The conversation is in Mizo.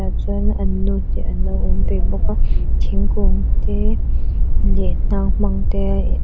chuan an nu te an lo awm ve bawk a thingkung te leh hnang hmang te a in --